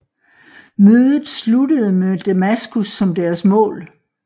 Mødet sluttede med Damaskus som deres mål